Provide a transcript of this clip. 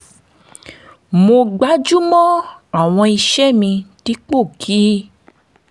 mo gbájú mọ́ àwọn iṣẹ́ mi dípò kí